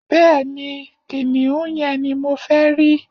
Bẹẹni, kiniun yen ni mo fẹ ri